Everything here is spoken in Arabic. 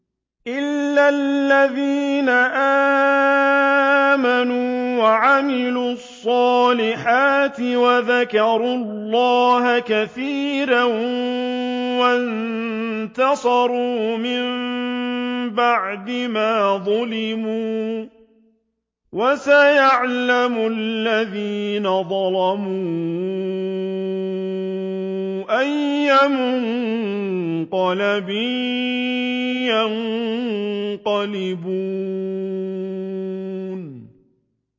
إِلَّا الَّذِينَ آمَنُوا وَعَمِلُوا الصَّالِحَاتِ وَذَكَرُوا اللَّهَ كَثِيرًا وَانتَصَرُوا مِن بَعْدِ مَا ظُلِمُوا ۗ وَسَيَعْلَمُ الَّذِينَ ظَلَمُوا أَيَّ مُنقَلَبٍ يَنقَلِبُونَ